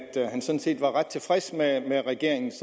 han sådan set var ret tilfreds med regeringens